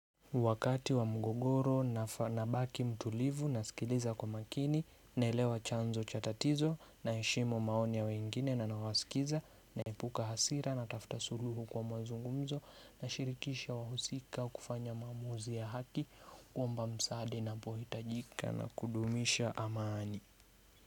Wakati wa mgogoro, nabaki mtulivu, nasikiliza kwa makini, naelewa chanzo cha tatizo, naheshimu maonia wengine na nawasikiza, naepuka hasiranatafuta suluhu kwa mazungumzo na shirikisha wahusika kufanya mamuzi ya haki. Kuomba msaada na pohitajika na kudumisha amani.